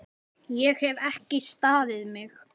Ég hef ekki staðið mig!